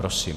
Prosím.